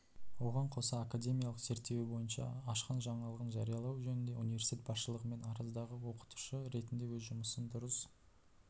оған қоса академиялық зерттеуі бойынша ашқан жаңалығын жариялау жөнінде университет басшылығымен араздығы да оқытушы ретінде өз жұмысын дұрыс